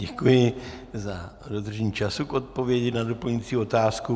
Děkuji za dodržení času k odpovědi na doplňující otázku.